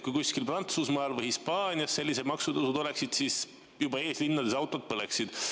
Kui kuskil Prantsusmaal või Hispaanias sellised maksutõusud oleksid, siis juba eeslinnades autod põleksid.